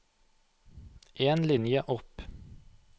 En linje opp